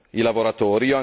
i lavoratori.